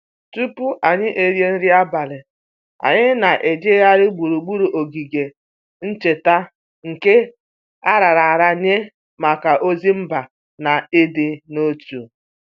Tupu anyị erie nri abalị, anyị na-ejegharị gburugburu ogige ncheta nke a raara nye maka ozi mba na ịdị n'otu